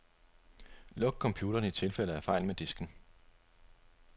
Luk computeren i tilfælde af fejl med disken.